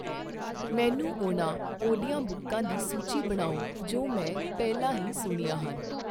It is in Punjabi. ਮੈਨੂੰ ਉਹਨਾਂ ਆਡੀਓਬੁੱਕਾਂ ਦੀ ਸੂਚੀ ਬਣਾਓ ਜੋ ਮੈਂ ਪਹਿਲਾਂ ਹੀ ਸੁਣੀਆਂ ਹਨ